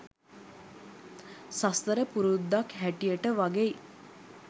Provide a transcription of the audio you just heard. සසර පුරුද්දක් හැටියට වගෙයි.